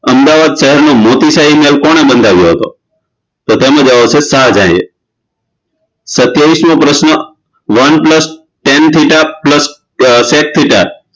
અમદાવાદ શહેરનો મોતી શાહી મહેલ કોણે બંધાવ્યો હતો તો તેનો જવાબ છે શાહજહાંએ સતીયાવીસમો પ્રશ્ન one plus ten theta plus sec theta